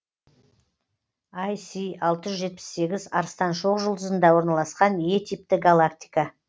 ай си алты жүз елу сегіз арыстан шоқжұлдызында орналасқан е типті галактика